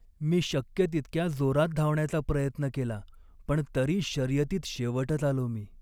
मी शक्य तितक्या जोरात धावण्याचा प्रयत्न केला पण तरी शर्यतीत शेवटच आलो मी.